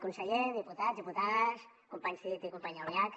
conseller diputats diputades companys cid i companya albiach